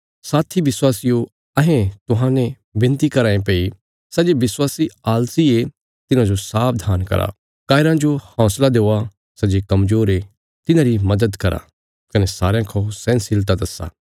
साथी विश्वासियो अहें तुहांजो विनती कराँ ये भई सै जे विश्वासी आलसी ये तिन्हाजो सावधान करा कायराँ जो हौंसला देआ सै जे कमजोर ये तिन्हांरी मदद करा कने सारयां खा सहनशीलता दस्सा